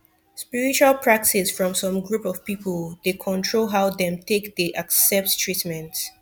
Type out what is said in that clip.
spiritual practice from some group of people dey control how dem take dey accept treatment